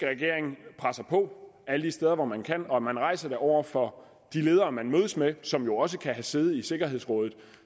regering presser på alle de steder hvor man kan og at man rejser det over for de ledere man mødes med som jo også kan have sæde i sikkerhedsrådet